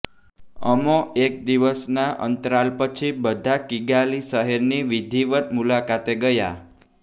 અમો એક દિવસના અંતરાલ પછી બધા કિગાલી શહેરની વિધિવત મુલાકાતે ગયા